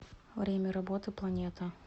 время работы планета